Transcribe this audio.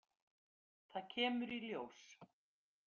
Það kemur í ljós.